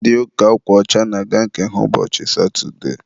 ndị ụka akwa ọcha na-aga nke ha ụbọchị satụde